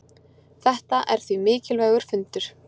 Þetta er því mikilvægur fundur.